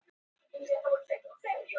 Dómar voru þessir helstir